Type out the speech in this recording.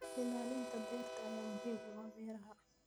Ilaalinta dhirta ayaa muhiim u ah beeraha.